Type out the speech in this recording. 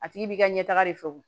A tigi b'i ka ɲɛ taga de fɛ wo